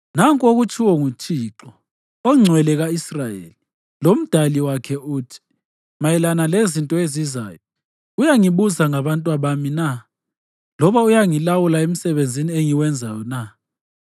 Nanku okutshiwo nguThixo, oNgcwele ka-Israyeli, loMdali wakhe uthi: Mayelana lezinto ezizayo, uyangibuza ngabatwabami na, loba uyangilawula emsebenzini engiwenzayo na?